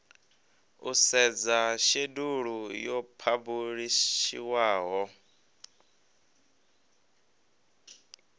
u sedza shedulu yo phabulishiwaho